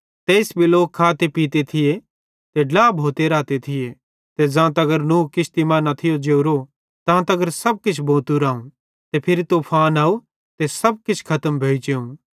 तेइस भी लोक खाते पीते थिये ते ड्ला भोंते रहते थिये ते ज़ां तगर नूह किश्ती मां न थियो जोरो तां तगर सब किछ भोतू राव ते फिरी तूफान अव ते सब किछ खतम भोइ जेवं